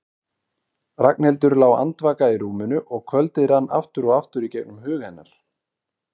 Ragnhildur lá andvaka í rúminu og kvöldið rann aftur og aftur í gegnum hug hennar.